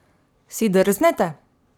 Si drznete?